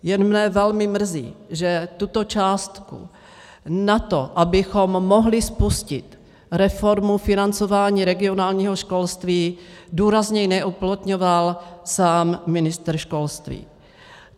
Jen mě velmi mrzí, že tuto částku na to, abychom mohli spustit reformu financování regionálního školství, důrazněji neuplatňoval sám ministr školství.